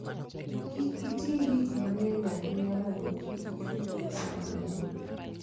Kik iting' gik mang'eny ahinya mondo kik ichul pesa mang'eny.